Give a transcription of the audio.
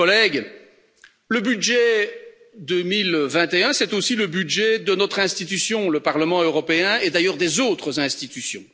Chers collègues, le budget 2021, c'est aussi le budget de notre institution, le Parlement européen, et d'ailleurs des autres institutions.